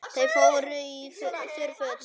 Þau fóru í þurr föt.